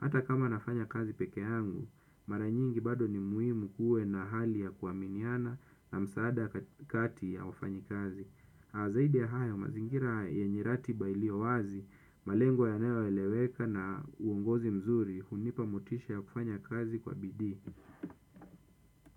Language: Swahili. Hata kama nafanya kazi peke yangu, maranyingi bado ni muhimu kuwe na hali ya kuaminiana na msaada kati ya wafanyi kazi. Zaidi ya hayo, mazingira yenye ratiba iliyowazi, malengo ya nayoeleweka na uongozi mzuri, hunipa motisha ya kufanya kazi kwa bidii.